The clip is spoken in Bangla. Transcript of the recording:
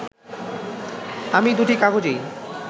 আমি দুটি কাগজেই